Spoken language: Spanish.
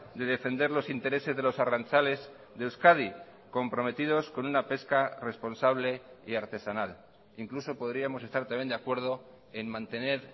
de defender los intereses de los arrantzales de euskadi comprometidos con una pesca responsable y artesanal incluso podríamos estar también de acuerdo en mantener